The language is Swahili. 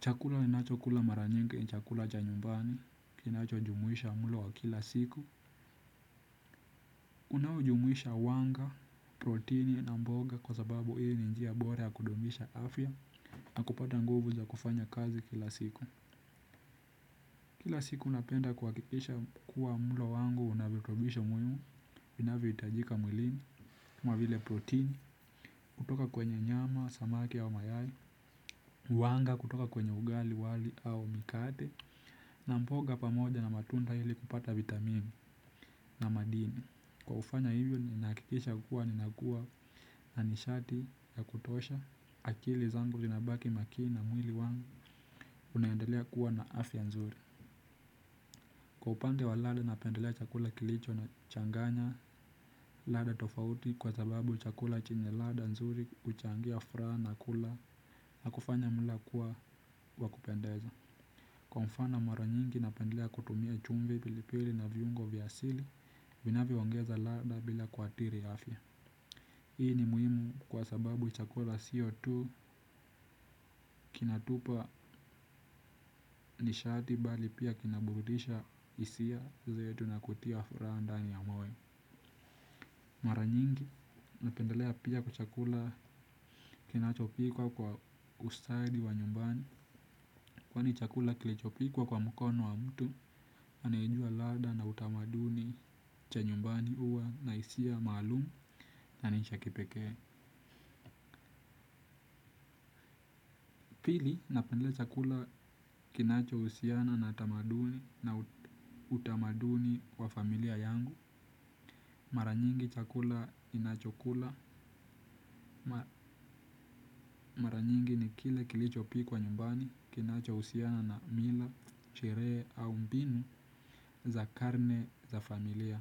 Chakula ninacho kula mara nyingi ni chakula cha nyumbani, kinacho jumuisha mulo wa kila siku. Unao jumuisha wanga, protini na mboga kwa sababu hii ni njia bora ya kudumisha afya. Nakupata nguvu za kufanya kazi kila siku. Kila siku napenda kuhakikisha kuwa mulo wangu unavitubisho muhimu, inavyoitajika mwilini. Kama vile protini, kutoka kwenye nyama, samaki au mayayi, wanga kutoka kwenye ugali, wali au mikate. Na mboga pamoja na matunda hili kupata vitamini na madini kwa kufanya hivyo nina hakikisha kuwa ninakua na nishati ya kutosha. Akili zangu zinabaki makini na mwili wangu unaendelea kuwa na afya nzuri. Kwa upande wa ladha napendelea chakula kilicho na changanya ladha tofauti. Kwa sababu chakula chenye ladha nzuri huchangia furaha na kula na kufanya mwila kuwa wakupendeza. Kwa mfano mara nyingi napendelea kutumia chumvi pili pili na viungo vya asili, vinavyo ongeza ladha bila kuathiri ya afya. Hii ni muhimu kwa sababu chakula siyo tu kinatupa nishati bali pia kina burudisha hisia zetu na kutia furaha ndani ya moyo. Mara nyingi napendelea pia chakula kinachopikwa kwa ustadi wa nyumbani. Kwani chakula kilichopikwa kwa mkono wa mtu, anaye jua ladha na utamaduni cha nyumbani huwa na hisia maalumu na ni cha kipekee. Pili, napendelea chakula kinacho husiana na utamaduni wa familia yangu. Mara nyingi chakula ninachokula, mara nyingi ni kile kilichopikwa nyumbani kinacho uhusiana na mila, sheree au mbinu za karne za familia.